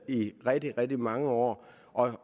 i rigtig rigtig mange år